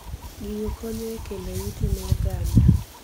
Gigo konyo e kelo yuto ne oganda.